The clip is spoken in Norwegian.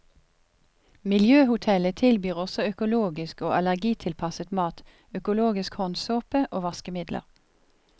Miljøhotellet tilbyr også økologisk og allergitilpasset mat, økologisk håndsåpe og vaskemidler.